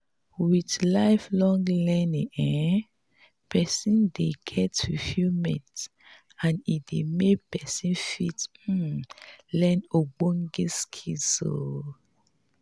with life-long learning um person dey get fulfilment and e dey make person fit um learn ogbonge skills um